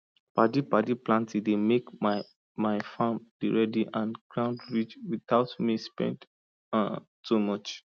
padipadi planting dey make my my farm dey ready and ground rich without me spend um too much